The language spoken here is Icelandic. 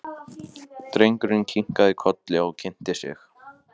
Drengurinn kinkaði kolli og kynnti sig.